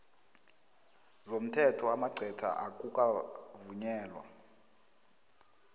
zomthetho amagcwetha akukavunyelwa